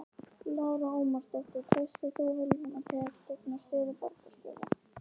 Lára Ómarsdóttir: Treystir þú Vilhjálmi til að gegna stöðu borgarstjóra?